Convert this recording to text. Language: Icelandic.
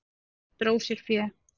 Hann dró sér fé.